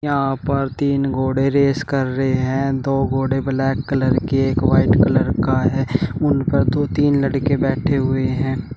यहां पर तीन घोड़े रेस कर रहे हैं दो घोड़े ब्लैक कलर के एक व्हाइट कलर का है उन पर दो तीन लड़के बैठे हुए हैं।